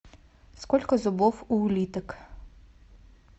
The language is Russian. сколько зубов у улиток